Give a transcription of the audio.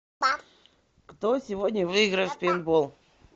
кто сегодня выиграет в пейнтбол